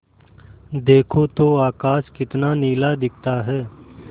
देखो तो आकाश कितना नीला दिखता है